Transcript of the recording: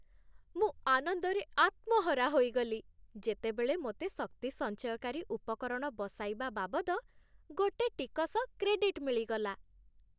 ମୁଁ ଆନନ୍ଦରେ ଆତ୍ମହରା ହୋଇଗଲି, ଯେତେବେଳେ ମୋତେ ଶକ୍ତିସଞ୍ଚୟକାରୀ ଉପକରଣ ବସାଇବା ବାବଦ ଗୋଟେ ଟିକସ କ୍ରେଡିଟ୍ ମିଳିଗଲା।